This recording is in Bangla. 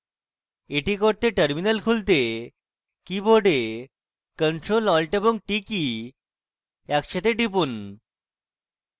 এটি করতে terminal খুলতে keyboard ctrl alt এবং t কী একসাথে টিপুন